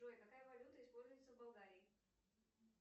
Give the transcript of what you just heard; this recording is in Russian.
джой какая валюта используется в болгарии